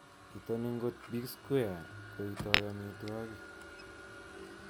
Itoni ngot Big Square koitoi amitwogik